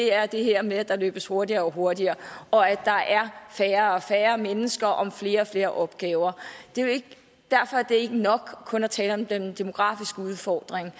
er det her med at der løbes hurtigere og hurtigere og at der er færre og færre mennesker om flere og flere opgaver derfor er det ikke nok kun at tale om den demografiske udfordring